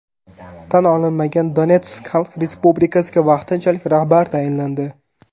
Tan olinmagan Donetsk xalq respublikasiga vaqtinchalik rahbar tayinlandi.